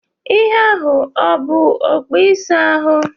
Ihe ahụ ọ bụ okpu ịsa ahụ?